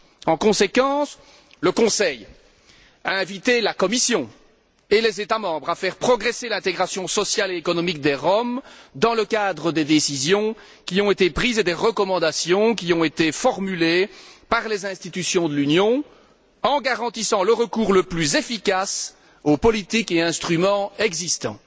En conséquence, le Conseil a invité la Commission et les États membres à faire progresser l'intégration sociale et économique des Roms, dans le cadre des décisions qui ont été prises et des recommandations qui ont été formulées par les institutions de l'Union, en garantissant le recours le plus efficace aux politiques et instruments existants.